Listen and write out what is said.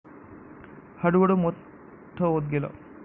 हळूहळू मोठ होत गेल.